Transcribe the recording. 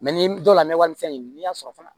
ni dɔw la n bɛ wari min fɛn ɲini n'i y'a sɔrɔ fana